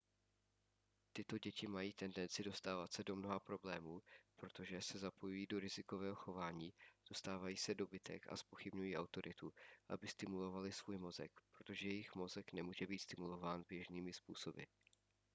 tyto děti mají tendenci dostávat se do mnoha problémů protože se zapojují do rizikového chování dostávají se do bitek a zpochybňují autoritu aby stimulovaly svůj mozek protože jejich mozek nemůže být stimulován běžnými způsoby